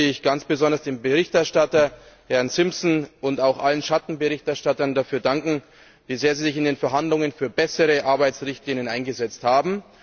Deshalb möchte ich ganz besonders dem Berichterstatter, Herrn Simpson, und auch allen Schattenberichterstattern dafür danken, dass sie sich in den Verhandlungen sehr für bessere Arbeitsrichtlinien eingesetzt haben.